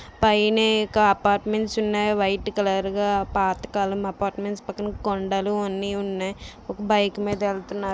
పైనే ఒక అపార్ట్మెంట్స్ ఉన్నయ్.అవి వైట్ కలర్ గా పాతకాలం అపార్ట్మెంట్స్ . పక్కన కొండలు అన్ని ఉన్నాయ్. ఒక బైక్ మీద వెళ్తున్నారు.